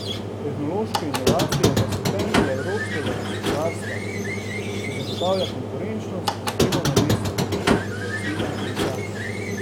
Tehnološke inovacije pa so temelj evropskega gospodarstva, ki zagotavlja konkurenčnost in delovna mesta, je pojasnila komisarka.